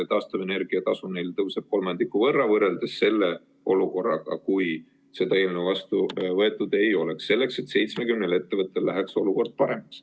Taastuvenergia tasu tõuseb neil kolmandiku võrra, võrreldes selle olukorraga, kui seda eelnõu vastu võetud ei oleks, selleks et 70 ettevõttel läheks olukord paremaks.